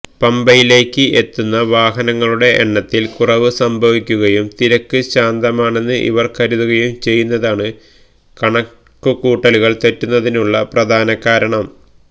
പമ്പയിലേക്ക് എത്തുന്ന വാഹനങ്ങളുടെ എണ്ണത്തില് കുറവ് സംഭവിക്കുകയും തിരക്ക് ശാന്തമാണെന്ന് ഇവര് കരുതുകയും ചെയ്യുന്നതാണ് കണക്കുകൂട്ടലുകള് തെറ്റുന്നതിനുളള പ്രധാനകാരണം